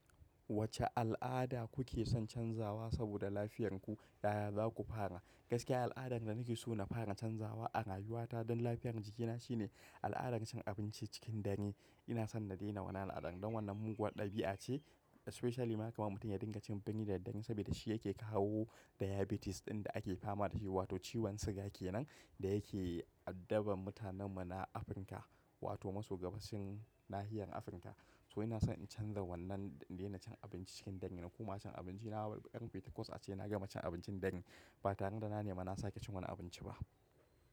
Wace al'ada kuke son canzawa saboda lafiyarku, yaya za ku fara? Gaskiya al'adan da nake so na fara canzawa a rayuwa ta don lafiyar jikina shine al'adar cin abinci cikin dangi. Ina son na daina wannan al'adan dan wannan muguwar ɗabi'a ce especially ma kamar mutum ya dinga cin dangi da dangi saboda shi yake kawo diabetes ɗin da ake fama da shi wato ciwon siga kenan da yake addaban mutanen mu na Afirka wato masu gabashin nahiyar Afirka. To ina son in canza wannan, daina cin abinci cikin dangi na kuma cin abinci na ɗan biyu ta kwas ace na gama cin abincin dare. Ba taron da na nema na sake cin wani abinci ba.